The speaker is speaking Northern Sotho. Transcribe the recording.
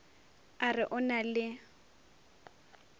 a re o na le